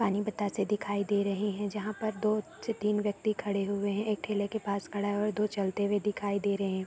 पानी बतासे दिखाई दे रहे हैं। जहाँ पर दो से तीन व्यक्ति खड़े हुए हैं। एक ठेले के पास खड़ा है। दो चलते हुए दिखाई दे रहे हैं।